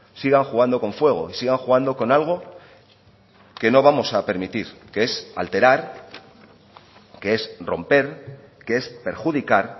sigan jugando con fuego y sigan jugando con algo que no vamos a permitir que es alterar que es romper que es perjudicar